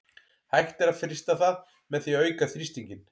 Hægt er að frysta það með því að auka þrýstinginn.